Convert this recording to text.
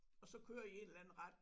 Og så køre i en eller anden retning